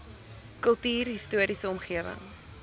kultuurhis toriese omgewing